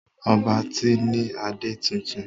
Ọba tí ní ade títún.